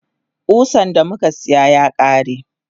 Kusan damuka siya yakare.